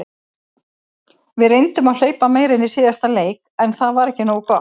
Við reyndum að hlaupa meira en í síðasta leik en það var ekki nógu gott.